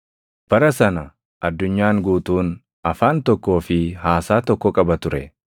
Bara sana addunyaan guutuun afaan tokkoo fi haasaa tokko qaba ture.